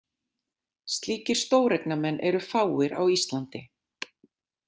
Slíkir stóreignamenn eru fáir á Íslandi.